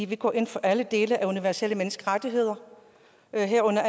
vi går ind for alle dele af universelle menneskerettigheder herunder